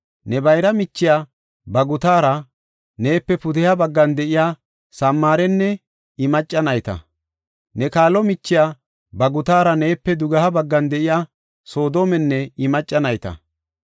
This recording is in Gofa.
Ne bayra michiya, ba gutaraa neepe pudeha baggan de7iya Samaarenne I macca nayta; ne kaalo michiya ba gutaraa neepe dugeha baggan de7iya Soodomenne I macca nayta.